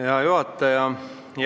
Hea juhataja!